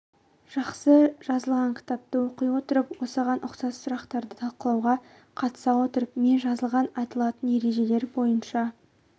жақсы жазылған кітапты оқи отырып осыған ұқсас сұрақтарды талқылауға қатыса отырып мен жазылған айтылатын ережелер бойынша